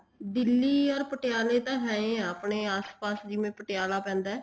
Delhi or ਪਟਿਆਲੇ ਤਾਂ ਹੈ ਈ ਆ ਆਪਣੇ ਆਸ ਪਾਸ ਜਿਵੇਂ ਪਟਿਆਲਾ ਪੈਂਦਾ